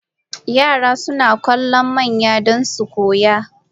Yara suna kallon manya don su koya.